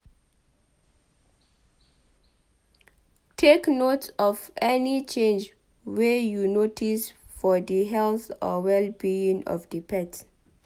Take note of any change wey you notice for di health or well-being of di pet